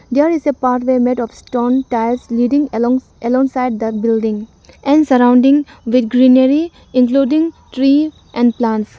there is a pathway made of stone tiles leading alongs alongside the building and surrounding with greenery including tree and plants.